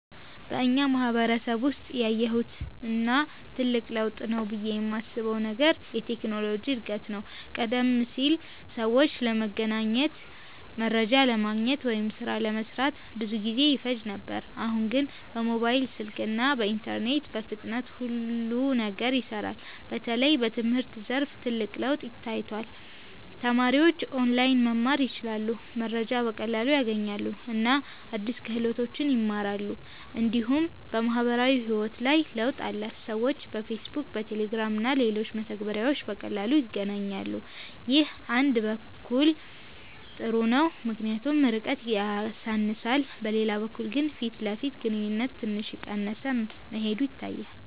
በእኛ ማህበረሰብ ውስጥ ያየሁት እና ትልቅ ለውጥ ነው ብዬ የማስበው ነገር የቴክኖሎጂ እድገት ነው። ቀደም ሲል ሰዎች ለመገናኘት፣ መረጃ ለማግኘት ወይም ሥራ ለመስራት ብዙ ጊዜ ይፈጅ ነበር። አሁን ግን በሞባይል ስልክ እና በኢንተርኔት በፍጥነት ሁሉ ነገር ይሰራል። በተለይ በትምህርት ዘርፍ ትልቅ ለውጥ ታይቷል። ተማሪዎች ኦንላይን መማር ይችላሉ፣ መረጃ በቀላሉ ያገኛሉ እና አዲስ ክህሎቶችን ይማራሉ። እንዲሁም በማህበራዊ ህይወት ላይ ለውጥ አለ። ሰዎች በፌስቡክ፣ በቴሌግራም እና በሌሎች መተግበሪያዎች በቀላሉ ይገናኛሉ። ይህ አንድ በኩል ጥሩ ነው ምክንያቱም ርቀትን ያሳንሳል፤ በሌላ በኩል ግን የፊት ለፊት ግንኙነት ትንሽ እየቀነሰ መሄዱ ይታያል።